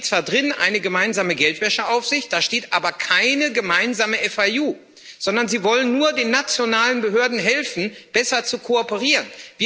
Da steht zwar eine gemeinsame Geldwäscheaufsicht drin, da steht aber keine gemeinsame FIU, sondern Sie wollen nur den nationalen Behörden helfen, besser zu kooperieren.